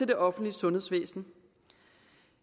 det offentlige sundhedsvæsen